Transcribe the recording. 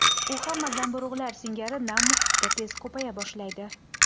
U hamma zamburug‘lar singari nam muhitda tez ko‘paya boshlaydi.